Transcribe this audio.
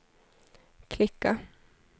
klicka